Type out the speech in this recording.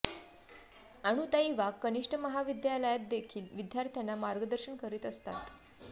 अनुताई वाघ कनिष्ठ महाविद्यालयात देखील विद्यार्थ्यांना मार्गदर्शन करीत असतात